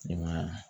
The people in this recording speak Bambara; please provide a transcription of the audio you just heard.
I ma